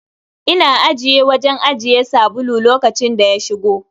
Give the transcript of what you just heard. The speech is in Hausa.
Ina ajiye wajen ajiye sabulu lokacin da ya shigo.